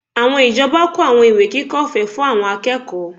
Àwọn ìjọba kó àwọn ìwé kíkà ọ̀fẹ́ fún àwọn akẹ́kọ̀ọ́